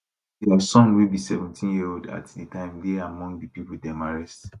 dia son wey be 17yearold at di time dey among di pipo dem arrest